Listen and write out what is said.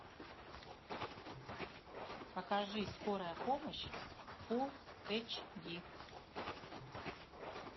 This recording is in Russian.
покажи скорая помощь фулл эйч ди